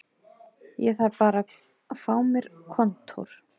Ég þarf bara að fá mér kontór